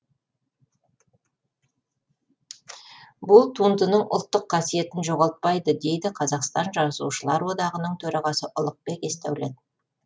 бұл туындының ұлттық қасиетін жоғалтпайды дейді қазақстан жазушылар одағының төрағасы ұлықбек есдәулет